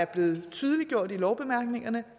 blev tydeliggjort i lovbemærkningerne